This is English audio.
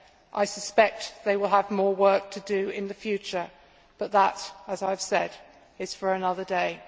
I suspect they will have more work to do in the future but that, as I have said, is for another day.